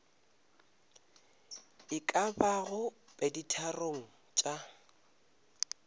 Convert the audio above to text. e ka bago peditharong tša